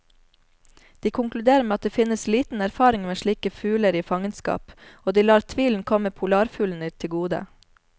De konkluderer med at det finnes liten erfaring med slike fugler i fangenskap, og de lar tvilen komme polarfuglene til gode.